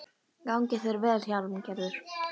Gangi þér allt í haginn, Hjálmgerður.